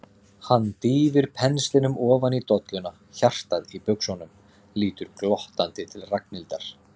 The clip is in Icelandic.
Hann dýfir penslinum ofan í dolluna, hjartað í buxunum, lítur glottandi til Ragnhildar.